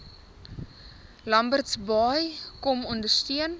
lambertsbaai kom ondersteun